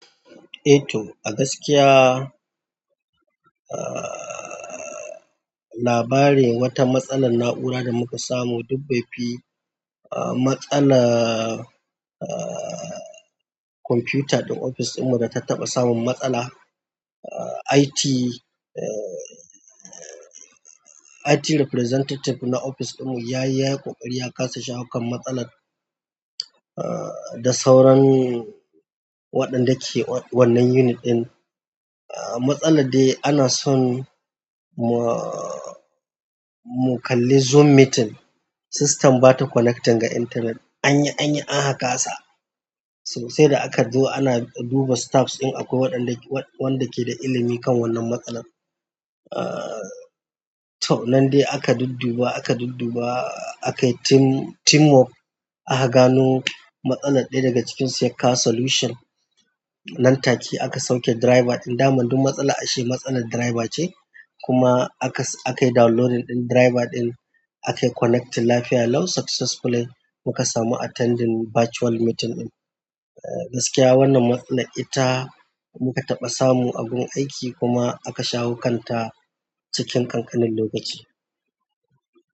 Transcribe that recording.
Eto, a gaskiya, ah, labarin wata matsalar na'ura da muka samu duk bai fi, ah, matsalar, ah, kwamfuta din ofis ɗinmu da ta taɓa samun matsala. Ah, IT, eh, IT representative na ofis ɗinmu ya yi, ya yi ƙoƙari ya kasa shawo kan matsalar, ah, da sauran waɗanda ke wannan unit ɗin. Ah, matsalar dai ana son mu, mu kalli Zoom meeting, system ba ta connecting ga internet. An yi, an yi, an aka kasa. Sai da aka zo ana duba staffs in akwai waɗanda ke, wanda ke da ilimi kan wannan matsalar. Ah, to, nan dai aka dudduba, aka dudduba, aka yi team, teamwork. Aka gano matsalar, ɗaya daga cikin su ya kawo solution. Nan take aka sauke driver ɗin. Daman duk matsala ashe matsalar driver ce. Kuma aka, aka yi downloading ɗin driver ɗin, aka yi connect lafiya lau successfully. Muka samu attending virtual meeting ɗin. A gaskiya wannan matsala ita muka taɓa samun a gun aiki kuma aka shawo kanta cikin ƙanƙanin lokaci.